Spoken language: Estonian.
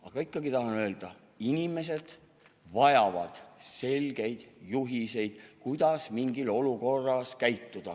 Aga ikkagi tahan öelda: inimesed vajavad selgeid juhiseid, kuidas mingis olukorras käituda.